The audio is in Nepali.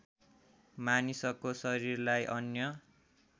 मानिसको शरीरलाई अन्य